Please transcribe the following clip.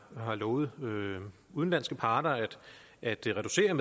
har lovet udenlandske parter at reducere